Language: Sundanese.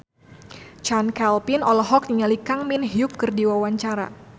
Chand Kelvin olohok ningali Kang Min Hyuk keur diwawancara